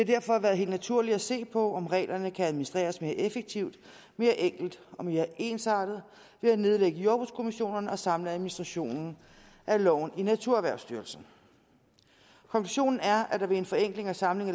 derfor være helt naturligt at se på om reglerne kan administreres mere effektivt mere enkelt og mere ensartet ved at nedlægge jordbrugskommissionerne og samle administrationen af loven i naturerhvervsstyrelsen konklusionen er at der ved en forenkling og samling